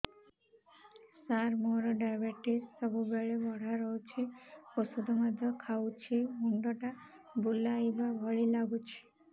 ସାର ମୋର ଡାଏବେଟିସ ସବୁବେଳ ବଢ଼ା ରହୁଛି ଔଷଧ ମଧ୍ୟ ଖାଉଛି ମୁଣ୍ଡ ଟା ବୁଲାଇବା ଭଳି ଲାଗୁଛି